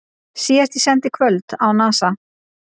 Síðasti séns í kvöld á Nasa